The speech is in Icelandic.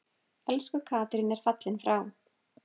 Elsku Katrín er fallin frá.